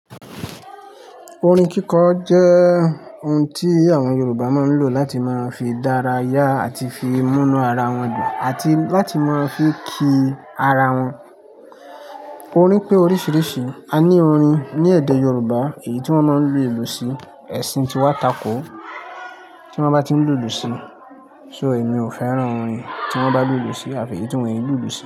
Orin kíkọ jẹ́ ohun tí àwọn Yorùbá máa ń lò láti máa ń fi dárayá àti fi múnú ara wọn dùn àti láti máa ń fi kì ì ara wọn. Orin pé oríṣiríṣi. A ní orin ní èdè Yorùbá èyí tí wọ́n máa ń lu èlù sí, ẹ̀sìn tí wá takò tí wọ́n bá tí ń lùlù sí. So èmi ò fẹ́ràn orin tí wọ́n bá lùlù sí àfi èyí tí wọ́n yẹn lùlù sí.